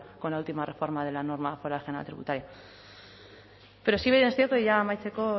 con la última reforma de la norma foral general tributaria pero si bien es cierto y ya amaitzeko